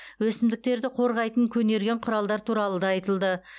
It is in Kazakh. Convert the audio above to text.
өсімдіктерді қорғайтын көнерген құралдар туралы да айтылды